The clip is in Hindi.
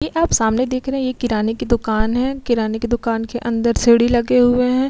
ये आप सामने देख रहे है एक किराने की दुकान है। किराने की दुकान के अंदर सीढ़ी लगे हुए है।